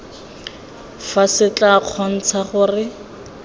fa se tla kgontsha gore